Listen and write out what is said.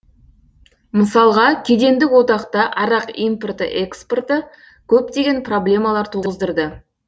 мысалға кедендік одақта арақ импорты экспорты көптеген проблемалар туғыздырды